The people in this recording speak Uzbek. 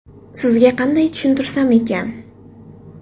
Sizga qanday tushuntirsam ekan?